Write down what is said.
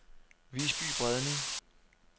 Visby Bredning